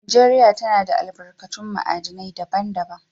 Najeriya tana da albarkatun ma'adinai daban-daban.